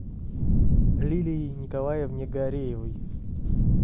лилии николаевне гареевой